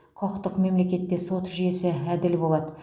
құқықтық мемлекетте сот жүйесі әділ болады